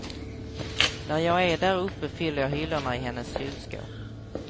När jag är där uppe fyller jag hyllorna i hennes kylskåp.